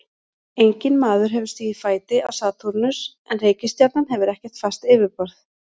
Enginn maður hefur stigið fæti á Satúrnus en reikistjarnan hefur ekkert fast yfirborð.